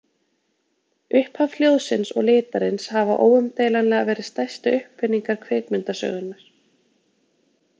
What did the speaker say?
Upphaf hljóðsins og litarins hafa óumdeilanlega verið stærstu uppfinningar kvikmyndasögunnar.